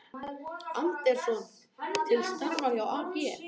Andersson til starfa hjá AG